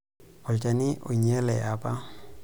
Olchani oinyale apa.